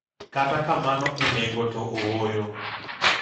Kata kamano, e nengo to ooyo